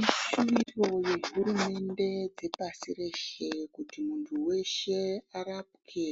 Ishuviro yehurumende dzepasi reshe kuti muntu weshe arapwe